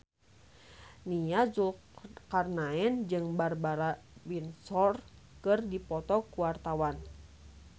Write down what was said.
Nia Zulkarnaen jeung Barbara Windsor keur dipoto ku wartawan